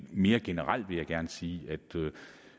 mere generelt vil jeg gerne sige